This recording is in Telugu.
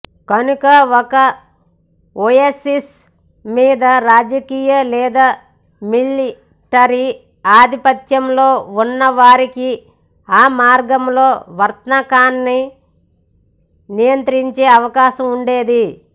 కనుక ఒక ఒయాసిస్సుమీద రాజకీయ లేదా మిలిటరీ ఆధిపత్యం ఉన్న వారికి ఆ మార్గంలో వర్తకాన్ని నియంత్రించే అవకాశం ఉండేది